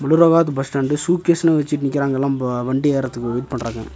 Bus stand சூட்கேஸ்னு வச்சுட்டு நிக்கறாங்க எல்லாம் வண்டி ஏர்றதுக்கு வெயிட் பண்றாங்க.